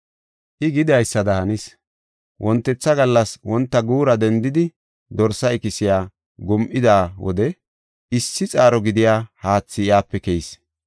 I gidaysada hanis. Wontetha gallas wonta guura dendidi, dorsa ikisiya gum7ida wode issi xaaro gidiya haathi iyape keyis.